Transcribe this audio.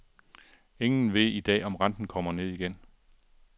Ingen ved i dag om renten kommer ned igen.